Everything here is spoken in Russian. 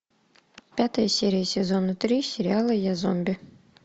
пятая серия сезона три сериала я зомби